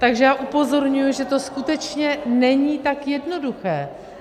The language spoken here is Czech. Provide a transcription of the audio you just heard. Takže já upozorňuji, že to skutečně není tak jednoduché.